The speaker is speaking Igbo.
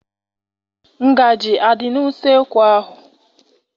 Ngaji adị n'useekwu ahụ?